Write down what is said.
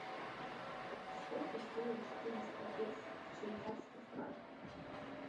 сколько стоит четыреста песо в швейцарских франках